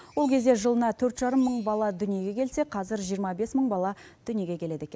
ол кезде жылына төрт жарым мың бала дүниеге келсе қазір жиырма бес мың бала дүниеге келеді екен